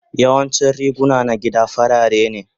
Yawancin riguna na gida farare ne.